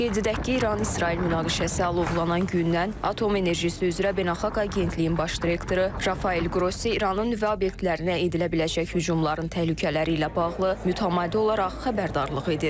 Qeyd edək ki, İran-İsrail münaqişəsi alovlanan gündən Atom Enerjisi üzrə Beynəlxalq Agentliyin baş direktoru Rafael Qrossi İranın nüvə obyektlərinə edilə biləcək hücumların təhlükələri ilə bağlı mütəmadi olaraq xəbərdarlıq edir.